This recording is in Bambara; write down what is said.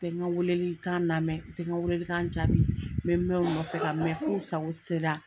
o tɛ n ka weeleli lamɛn o tɛ n ka weeleli kan jaabi n bɛ mɛn u nɔfɛ ka mɛn f'u sago se la.